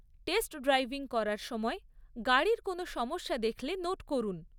Test driving করার সময়, গাড়ির কোনো সমস্যা দেখলে নোট করুন।